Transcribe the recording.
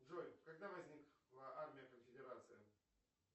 джой когда возникла армия конфедерации